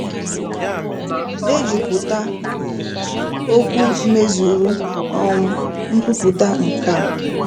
Dejupụta okwu mezuru um nkwupụta nkè a: